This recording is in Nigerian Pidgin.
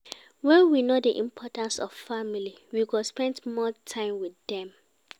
When we know di importance of family, we go spend more time with dem